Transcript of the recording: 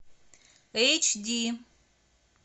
эйч ди